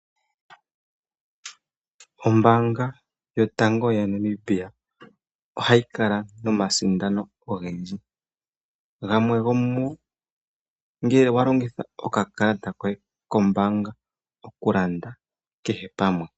Ombanga yotango ya Namibia ohayi kala nomasindano ogendji, gamwe go mu go ongele walongitha okakalata koye kombanga okulanda kehe pamwe.